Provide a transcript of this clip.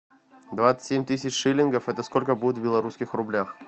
двадцать семь тысяч шиллингов это сколько будет в белорусских рублях